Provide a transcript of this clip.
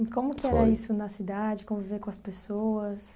Foi. E como que era isso na cidade, conviver com as pessoas?